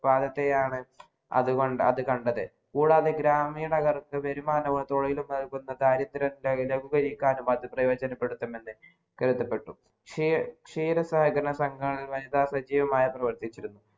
പാതത്തെയാണ് അത് കണ്ടത് കൂടാതെ ഗ്രാമീണകാർക്ക് വരുമാനവും തൊഴിലു ബന്ധമായകാര്യനത്തിന് അത് ഉപയോഗിക്കാനും പ്രയോജനപ്പെ ടുത്തണമെന്ന് കരുതപ്പെടുന്നു ക്ഷീത സഹകരണ സംഘത്തിൽ വനിതാ സജീവമായി പ്രാവർത്തിച്ചിരുന്നു